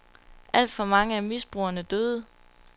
Alt for mange af misbrugerne døde.